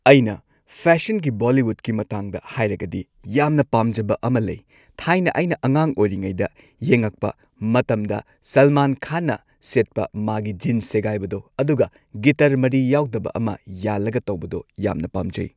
ꯑꯩꯅ ꯐꯦꯁꯟꯒꯤ ꯕꯣꯜꯂꯤꯋꯨꯗꯀꯤ ꯃꯇꯥꯡꯗ ꯍꯥꯏꯔꯒꯗꯤ ꯌꯥꯝꯅ ꯄꯥꯝꯖꯕ ꯑꯃ ꯂꯩ꯫ ꯊꯥꯏꯅ ꯑꯩꯅ ꯑꯉꯥꯡ ꯑꯣꯏꯔꯤꯉꯩꯗ ꯌꯦꯡꯉꯛꯄ ꯃꯇꯝꯗ ꯁꯜꯃꯥꯟ ꯈꯥꯟꯅ ꯁꯦꯠꯄ ꯃꯥꯒꯤ ꯖꯤꯟꯁ ꯁꯦꯒꯥꯏꯕꯗꯣ ꯑꯗꯨꯒ ꯒꯤꯇꯔ ꯃꯔꯤ ꯌꯥꯎꯗꯕ ꯑꯃ ꯌꯥꯜꯂꯒ ꯇꯧꯕꯗꯣ ꯌꯥꯝꯅ ꯄꯥꯝꯖꯩ ꯫